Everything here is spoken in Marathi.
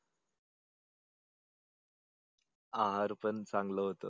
आहार पण चांगल होत.